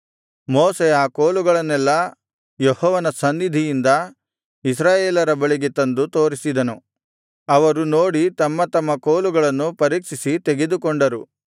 ಮೋಶೆ ಆ ಕೋಲುಗಳನ್ನೆಲ್ಲಾ ಯೆಹೋವನ ಸನ್ನಿಧಿಯಿಂದ ಇಸ್ರಾಯೇಲರ ಬಳಿಗೆ ತಂದು ತೋರಿಸಿದನು ಅವರು ನೋಡಿ ತಮ್ಮತಮ್ಮ ಕೋಲುಗಳನ್ನು ಪರೀಕ್ಷಿಸಿ ತೆಗೆದುಕೊಂಡರು